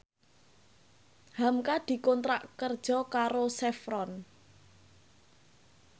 hamka dikontrak kerja karo Chevron